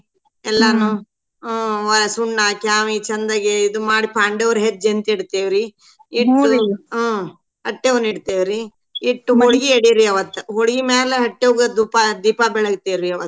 ಹ್ಮ್‌ ವ್~ ಸುಣ್ಣ ಕ್ಯಾವ್ಹೀ ಚಂದಗೆ ಇದ್ ಮಾಡಿ ಪಾಂಡವ್ರ ಹೆಜ್ಜಿ ಅಂತ್ತಿಡ್ತೇವ್ರೀ ಹ್ಮ್‌ ಹಟ್ಯವ್ನೀಡ್ತೆವ್ರಿ ಇಟ್ಟ ಹೋಳ್ಗಿ ಎಡಿ ರೀ ಅವತ್ ಹೋಳ್ಗಿಮ್ಯಾಲ ಹಟ್ಯವ್ಗ ದೂಪಾ ದೀಪಾ ಬೆಳ್ಗತೀವ್ರೀ ಅವತ್ತ್.